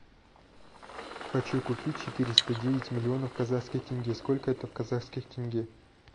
хочу купить четыреста девять миллионов казахских тенге сколько это в казахских тенге